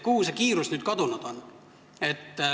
Kuhu see kiirus nüüd kadunud on?